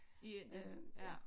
I Indien ja